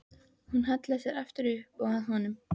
Hún hallaði sér aftur upp að honum.